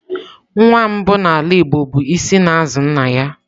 Nwa mbụ n'ala igbo bụ isi n'azu nna ya.